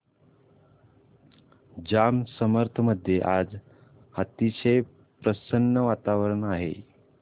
जांब समर्थ मध्ये आज अतिशय प्रसन्न वातावरण आहे